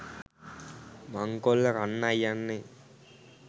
මංකොල්ල කන්නයි යන්නෙ.